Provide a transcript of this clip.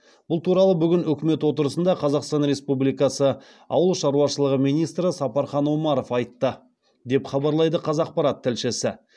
бұл туралы бүгін үкімет отырысында қазақстан республикасы ауыл шаруашылығы министрі сапархан омаров айтты деп хабарлайды қазақпарат тілшісі